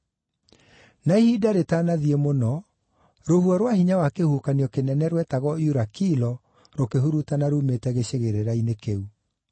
Na ihinda rĩtanathiĩ mũno, rũhuho rwa hinya wa kĩhuhũkanio kĩnene rwetagwo “Eurakilo,” rũkĩhurutana ruumĩte gĩcigĩrĩra-inĩ kĩu.